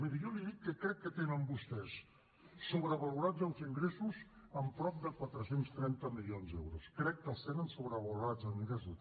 miri jo li dic que crec que tenen vostès sobrevalorats els ingressos en prop de quatre cents i trenta milions d’euros crec que els tenen sobrevalorats en ingressos